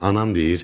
Anam deyir: